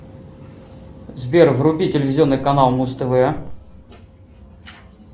сбер вруби телевизионный канал муз тв